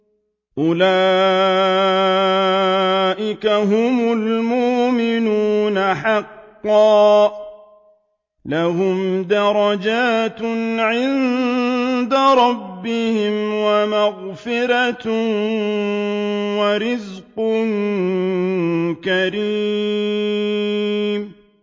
أُولَٰئِكَ هُمُ الْمُؤْمِنُونَ حَقًّا ۚ لَّهُمْ دَرَجَاتٌ عِندَ رَبِّهِمْ وَمَغْفِرَةٌ وَرِزْقٌ كَرِيمٌ